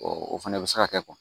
o fana bɛ se ka kɛ